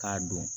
K'a don